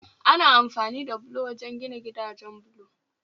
Ana amfani da bulo wajen gina gidajen bulo